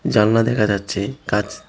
জালনা দেখা যাচ্ছে কাচ--